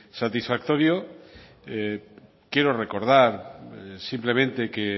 satisfactorio quiero recordar simplemente que